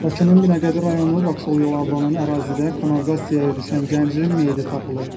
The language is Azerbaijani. Bakının Binəqədi rayonu, Vakzal yolu adlanan ərazidə kanalizasiyaya düşən gəncin meyidi tapılıb.